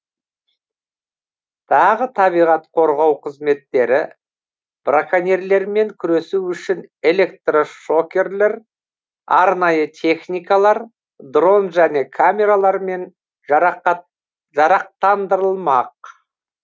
тағы табиғат қорғау қызметтері браконьерлермен күресу үшін электрошокерлер арнайы техникалар дрон және камералармен жарақтандырылмақ